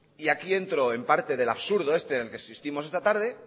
y aquí dentro en parte del absurdo en el que existimos esta tarde